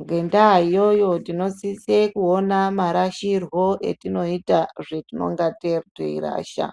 Ngendaa iyoyo tinosise kuona marashirwo etinoita zvetinonga teirasha.